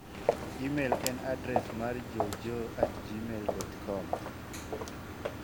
imel en adres mar joejoe@gmail.com